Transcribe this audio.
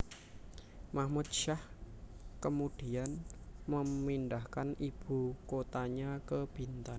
Mahmud Syah kemudian memindahkan ibu kotanya ke Bintan